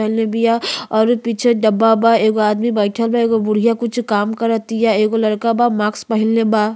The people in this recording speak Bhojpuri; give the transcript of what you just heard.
पहनले बिया औरु पीछे डब्बा बा एगो आदमी बइठल बा। एगो बुढ़ियाँ कुछु काम कर तिया। एगो लड़का बा मास्क पहिनले बा।